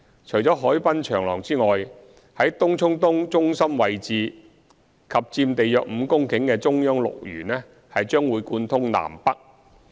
除海濱長廊外，在東涌東中心位置及佔地約5公頃的"中央綠園"將貫通南北。